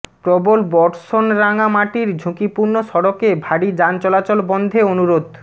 প্রবল বর্ষণরাঙামাটির ঝুঁকিপূর্ণ সড়কে ভারী যান চলাচল বন্ধে অনুরোধ